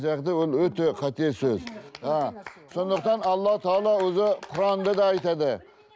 жағдай ол өте қате сөз а сондықтан алла тағала өзі құранда да айтады